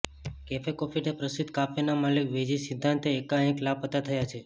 cafe coffee day પ્રસિદ્ધ કાફેના માલિક વી જી સિદ્ધાર્થ એકાંએક લાપતાં થયાં છે